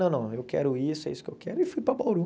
Não, não, eu quero isso, é isso que eu quero, e fui para Bauru.